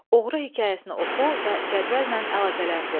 Oğru hekayəsini oxu və cədvəllə əlaqələndir.